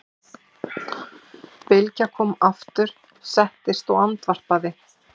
Bylgja kom aftur, settist og andvarpaði.